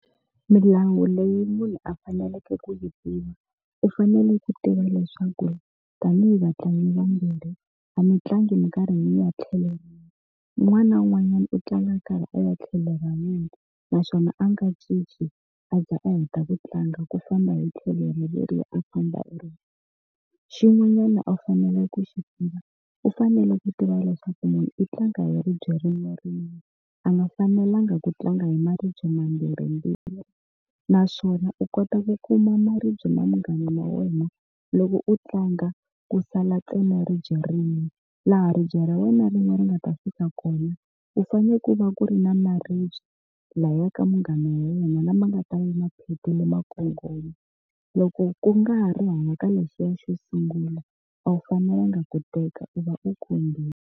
Milawu leyi munhu a faneleke ku yi tiva u fanele ku tiva leswaku tanihi vatlangi vambirhi a mutlangi minkarhi ya tlhelo rin'we un'wana na un'wanyana u tlanga nkarhi a ya tlhelo ra munhu naswona a nga cinci a za a heta ku tlanga ku famba hi tlhelo ra leri a famba hi ribye xin'wanyana a fanele ku xi tiva u fanele ku tiva leswaku munhu i tlanga hi ribye ririmi rin'we a nga fanelanga ku tlanga hi maribye mambirhi ndzilo naswona u kota ku kuma maribye na munghana wa wena loko u tlanga ku sala tsema ribye rime laha ribye ra wena rin'we ri nga ta fika kona u fanele ku va ku ri ni ya maribye laya ka munghana wa wena lama nga ta va yi maphephe lama nkongomelo loko ku nga ha ri hala ka lexiya xo sungula a wu fanelanga ku teka u va u khombile.